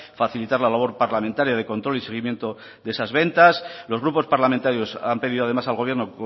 facilitar la labor parlamentaria de control y seguimiento de esas ventas los grupos parlamentarios han pedido además al gobierno